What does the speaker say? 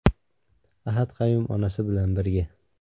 Ahad Qayum onasi bilan birga.